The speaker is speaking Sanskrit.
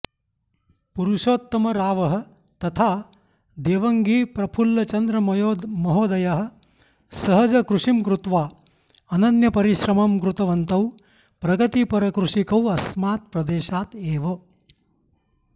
पुरुषोत्तमरावः तथा देवङ्गिप्रफुल्लचन्द्रमहोदयः सहजकृषिं कृत्वा अनन्यपरिश्रमं कृतवन्तौ प्रगतिपरकृषिकौ अस्मात् प्रदेशात् एव